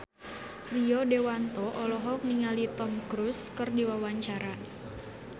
Rio Dewanto olohok ningali Tom Cruise keur diwawancara